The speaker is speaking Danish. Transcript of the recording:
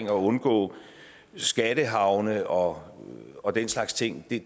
at undgå skattehavne og og den slags ting er